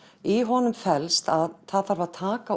í honum felst að það þarf að taka